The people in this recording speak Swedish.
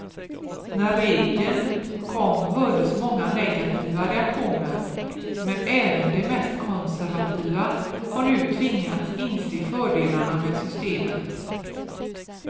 När regeln kom hördes många negativa reaktioner, men även de mest konservativa har nu tvingats inse fördelarna med systemet.